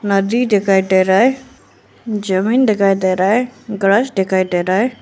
नदी दिखाई दे रहा है जमीन दिखाई दे रहा है ग्रॉस दिखाई दे रहा है।